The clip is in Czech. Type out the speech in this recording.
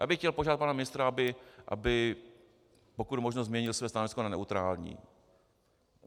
Já bych chtěl požádat pana ministra, aby pokud možno změnil své stanovisko na neutrální.